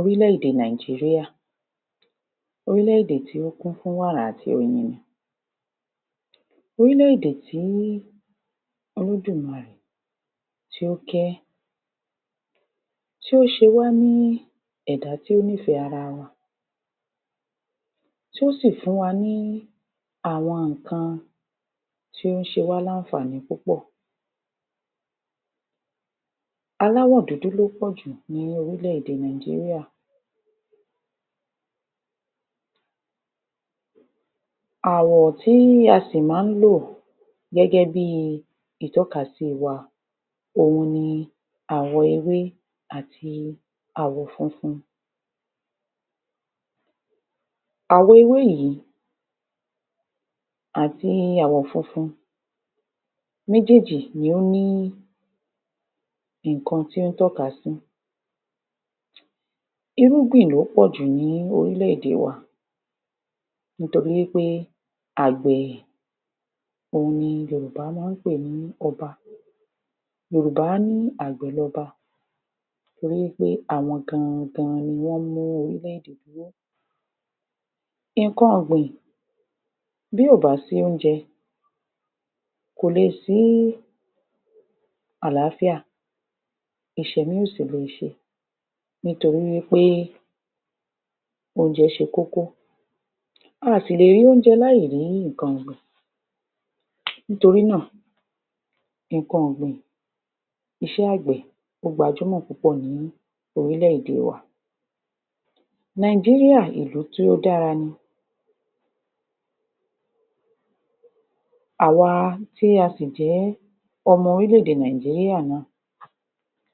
Orílè-èdè Nàìjíríà Orílẹ̀-èdè tí ó kún fún wàrà àti oyin ni. Orílẹ̀-èdè tí Olódùmarè tí ó kẹ̀, tí ó ṣe wá ní ẹ̀dá tí ó nífẹ̀ẹ́ ara wa, tí ó sì fún wa ní àwọn nǹkan tí ó ń ṣe wá láǹfààní púpọ̀. Aláwọ̀ dúdú ló pọ̀jù ní orílẹ̀-èdè Nàìjíríà Àwọ̀ tí a sì máa ń lò gẹ́gẹ́ bí i ìtọ́kasí wa, òhun ni àwọ̀ ewé àti àwọ̀ funfun. Àwọ̀ ewé yìí àti àwọ̀ funfun, méjéèjì ni ó ní nǹkan tí ó ń tọ́ka sí. Irúgbìn ló pọ̀jù ní orílẹ̀-èdè wa, nítorí wí pé àgbẹ̀ òhun ni Yorùbá máa ń pè ní Ọba. Yorùbá á ní “àgbẹ̀ lọba” torí wí pé àwọn gan-an gan-an ni wọ́n mú orílẹ̀-èdè dúró. Nǹkan ọ̀gbìn, bí ò bá sí oúnjẹ, kò lè síí àlááfíà. Ìṣèmí ò sì lè ṣe nítorí wí pé oúnjẹ ṣe kókó, a à sì lè rí oúnjẹ láì rí nǹkan ọ̀gbìn. Nítorí náà, nǹkan ọ̀gbìn, iṣẹ́ àgbẹ̀, ó gbajúmọ̀ púpọ̀ ní orílẹ̀-èdè wa. Nàìjíríà, ìlú tí ó dára ni. Àwa tí a sì jẹ́ ọmọ orílẹ̀-ẹ̀dẹ̀ Nàìjíríà náà,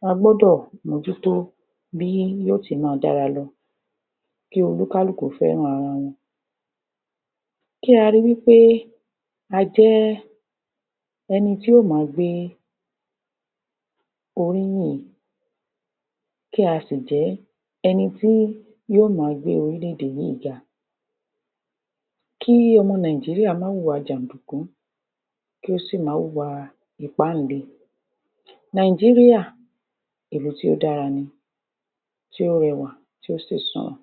a gbọ́dọ̀ mó jú tó bí yóò ti ma dára lọ, kí olúkálùkú fẹ́ràn ara wọn. Kí a rí wí pé a jẹ́ ẹni tí yóò ma gbé oríyìn, kí a sì jẹ́ ẹni tí yóò ma gbé orílẹ̀-èdè yíì ga. Kí ọmọ Nàìjíríà má hùwà jàǹdùkú, kí ó sì má hùwà ìpáǹle. Nàìjíríà, ìlú tí ó dára ni, tí ó rẹwà, tí ó sì su wọ̀n.